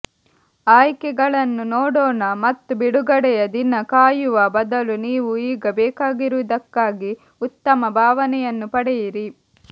ಆಯ್ಕೆಗಳನ್ನು ನೋಡೋಣ ಮತ್ತು ಬಿಡುಗಡೆಯ ದಿನ ಕಾಯುವ ಬದಲು ನೀವು ಈಗ ಬೇಕಾಗಿರುವುದಕ್ಕಾಗಿ ಉತ್ತಮ ಭಾವನೆಯನ್ನು ಪಡೆಯಿರಿ